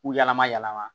K'u yɛlɛma yɛlɛma